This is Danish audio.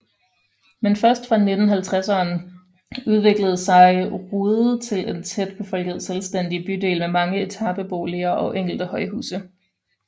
Men først fra 1950ern udviklede sig Rude til en tæt befolket selvstændig bydel med mange etabeboliger og enkelte højhuse